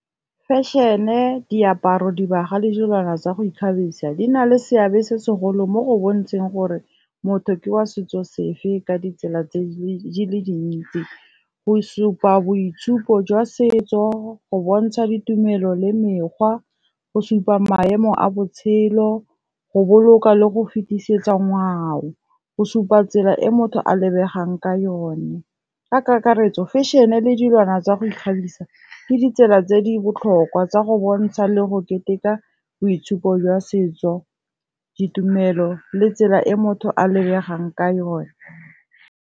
Fešhene, diaparo, dibaga le dilwana tsa go ikgabisa di na le seabe se segolo mo go bontshang gore motho ke wa setso sefe ka ditsela tse dintsi. Go supa boitshupo jwa setso, go bontsha ditumelo le mekgwa, go supa maemo a botshelo, go boloka le go fetisetsa ngwao, go supa tsela e motho a lebegang ka yone. Ka kakaretso fešhene le dilwana tsa go ikgabisa ke ditsela tse di botlhokwa tsa go bontsha le go keteka boitshupo jwa setso, ditumelo le tsela e motho a lebegang ka yone.